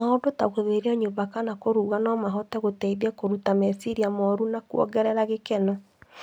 Maũndũ ta gũtheria nyũmba kana kũruga no mahote gũteithia kũruta meciria moru na kuongerera gĩkeno.